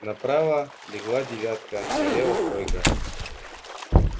направо легла девятка налево тройка